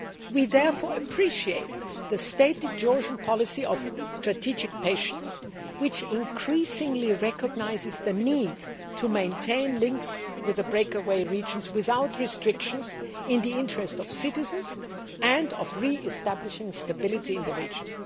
We therefore appreciate the stated Georgian policy of strategic patience, which increasingly recognises the need to maintain links with the breakaway regions without restrictions, in the interest of citizens, and of re establishing stability in the region.